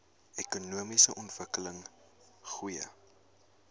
ekonomiese ontwikkeling goeie